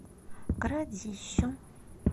городищу